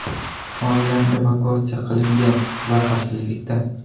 Oilam evakuatsiya qilingan va xavfsizlikda.